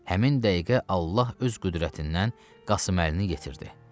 Həmin dəqiqə Allah öz qüdrətindən Qasım Əlini yetirdi.